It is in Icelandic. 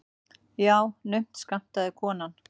Já, naumt skammtaði konan.